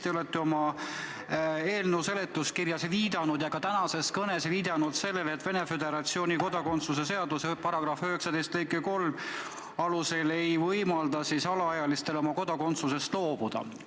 Te olete oma eelnõu seletuskirjas ja ka tänases kõnes viidanud sellele, et Venemaa Föderatsiooni kodakondsuse seaduse § 19 lõige 3 ei võimalda alaealistel oma kodakondsusest loobuda.